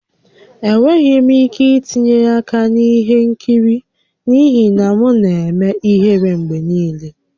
Enweghị m ike itinye aka na ihe nkiri n'ihi na m na-eme ihere mgbe niile